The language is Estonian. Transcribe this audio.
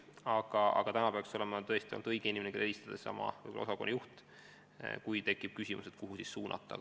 Aga kui tekib küsimus, kuhu abivajaja suunata, siis õige inimene, kellele sellisel juhul helistada, peaks olema seesama osakonna juht.